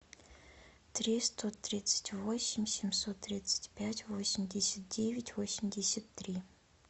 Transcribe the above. триста тридцать восемь семьсот тридцать пять восемьдесят девять восемьдесят три